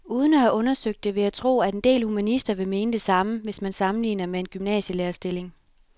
Uden at have undersøgt det vil jeg tro, at en del humanister vil mene det samme, hvis man sammenligner med en gymnasielærerstilling.